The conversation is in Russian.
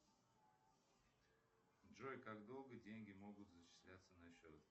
джой как долго деньги могут зачисляться на счет